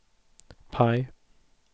PIE